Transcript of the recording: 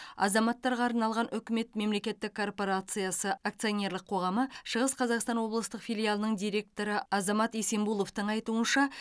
азаматтарға арналған үкімет мемлекеттік корпорациясы акционерлік қоғамы шығыс қазақстан облыстық филиалының директоры азамат есембуловтың айтуынша